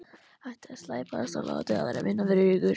Hættið að slæpast og láta aðra vinna fyrir ykkur.